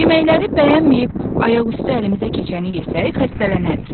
Yeməkləri bəyənməyib ayaq üstü əlimizə keçəni yesək, xəstələnərik.